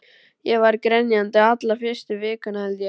Ég var grenjandi alla fyrstu vikuna, held ég.